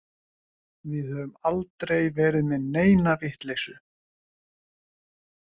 Við höfum aldrei verið með neina vitleysu.